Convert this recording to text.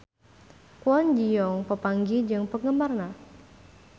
Kwon Ji Yong papanggih jeung penggemarna